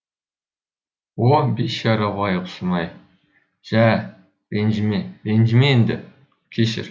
о бейшара байғұсым ай жә ренжіме ренжіме енді кешір